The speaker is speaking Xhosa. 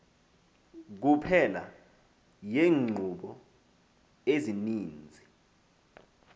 kuphela yeenkqubo ezininzi